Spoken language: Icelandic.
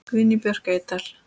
Guðný Björk Eydal.